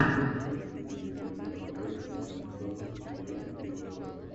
можешь найти мне дерби апл между ньюкаслом юнайтед и лестером